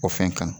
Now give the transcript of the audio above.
O fɛn kan